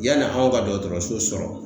Yanni anw ka dɔgɔtɔrɔso sɔrɔ